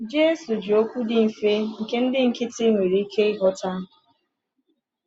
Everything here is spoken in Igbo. Jésù ji okwu dị mfe nke ndị nkịtị nwere ike ịghọta.